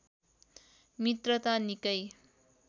मित्रता निकै